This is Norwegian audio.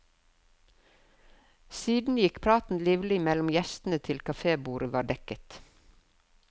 Siden gikk praten livlig mellom gjestene til kaffebordet var dekket.